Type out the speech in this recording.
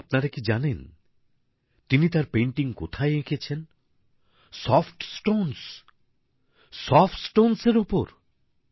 কিন্তু আপনারা কি জানেন তিনি তাঁর পেইন্টিং কোথায় এঁকেছেন ౼সফট স্টোন্সে সফট স্টোন্স এর ওপর